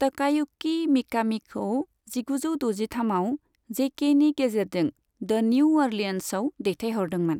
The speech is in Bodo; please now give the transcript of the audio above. तकायुकी मिकामीखौ जिगुजौ द'जिथामआव जेकेएनि गेजेरजों द्वन्यू अ'रलियन्सआव दैथायहरदोंमोन।